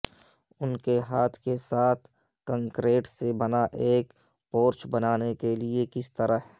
ان کے ہاتھ کے ساتھ کنکریٹ سے بنا ایک پورچ بنانے کے لئے کس طرح